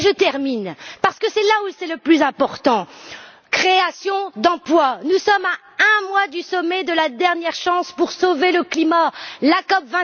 Et je termine, parce que c'est là où c'est le plus important création d'emplois. Nous sommes à un mois du sommet de la dernière chance pour sauver le climat, la COP